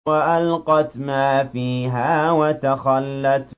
وَأَلْقَتْ مَا فِيهَا وَتَخَلَّتْ